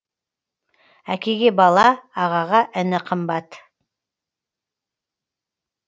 әкеге бала ағаға іні қымбат